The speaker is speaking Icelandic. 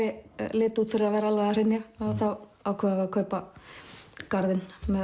liti út fyrir að vera alveg að hrynja þá ákváðum við að kaupa garðinn með